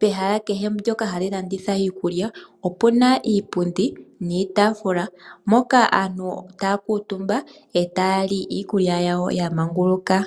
pehala kehe mbyoka ha li landitha iikulya opuna iipundi niitaafula mpoka aantu taya kuutumba eta ya li iikulya yawo ya manguluka.